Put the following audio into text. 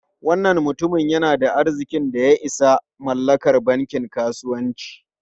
Wannan mutumin yana da arzikin da ya isa mallakar bankin kasuwanci.